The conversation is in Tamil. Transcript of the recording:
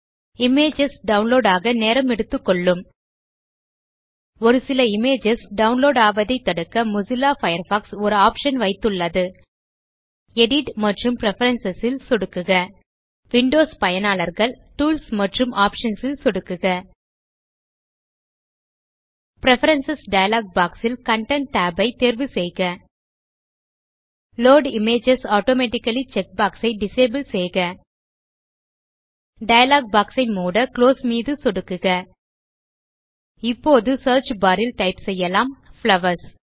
இமேஜஸ் டவுன்லோட் ஆக நேரம் எடுத்துக்கொள்ளும் ஒரு சில இமேஜஸ் டவுலோட் ஆவதை தடுக்க மொசில்லா பயர்ஃபாக்ஸ் ஒரு ஆப்ஷன் வைத்துள்ளது எடிட் மற்றும் பிரெஃபரன்ஸ் ல் சொடுக்குக விண்டோஸ் பயனர்கள் டூல்ஸ் மற்றும் ஆப்ஷன்ஸ் ல் சொடுக்குக பிரெஃபரன்ஸ் டயலாக் பாக்ஸ் ல் கன்டென்ட் tab ஐ தேர்வு செய்க load images automatically check box ஐ டிசபிள் செய்க டயலாக் பாக்ஸ் ஐ மூட குளோஸ் மீது சொடுக்குக இப்போது சியர்ச் பார் ல் டைப் செய்யலாம் புளவர்ஸ்